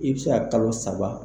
I bi se ka kalo saba